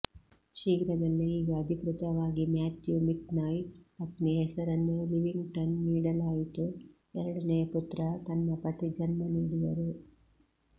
ಶೀಘ್ರದಲ್ಲೇ ಈಗ ಅಧಿಕೃತವಾಗಿ ಮ್ಯಾಥ್ಯೂ ಮಿಕ್ನಾಯ್ ಪತ್ನಿ ಹೆಸರನ್ನು ಲಿವಿಂಗ್ಸ್ಟನ್ ನೀಡಲಾಯಿತು ಎರಡನೆಯ ಪುತ್ರ ತನ್ನ ಪತಿ ಜನ್ಮ ನೀಡಿದರು